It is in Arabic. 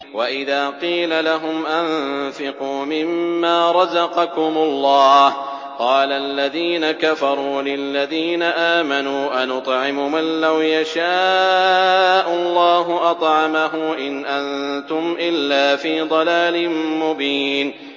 وَإِذَا قِيلَ لَهُمْ أَنفِقُوا مِمَّا رَزَقَكُمُ اللَّهُ قَالَ الَّذِينَ كَفَرُوا لِلَّذِينَ آمَنُوا أَنُطْعِمُ مَن لَّوْ يَشَاءُ اللَّهُ أَطْعَمَهُ إِنْ أَنتُمْ إِلَّا فِي ضَلَالٍ مُّبِينٍ